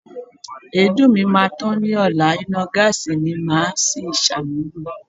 Èédú mi máa tán ni ọla, iná gáàsí ni màá si ṣàmúlò.